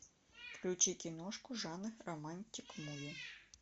включи киношку жанр романтик муви